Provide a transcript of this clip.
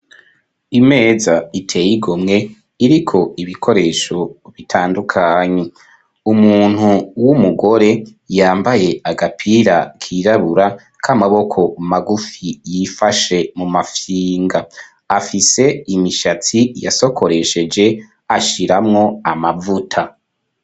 Imeza iteye igomwe, iriko ibikoresho bitandukanye, umuntu w'umugore yambaye agapira k'irabura k'amaboko magufi, yifashe mu mafyinga, afise imishatsi yasokoresheje ashiramwo amavuta.